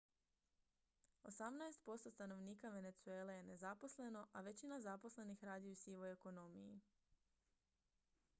osamnaest posto stanovnika venezuele je nezaposleno a većina zaposlenih radi u sivoj ekonomiji